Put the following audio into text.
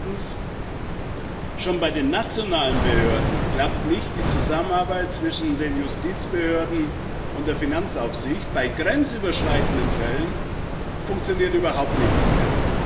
Und zweitens Schon bei den nationalen Behörden klappt die Zusammenarbeit zwischen den Justizbehörden und der Finanzaufsicht nicht, bei grenzüberschreitenden Fällen funktioniert überhaupt nichts mehr.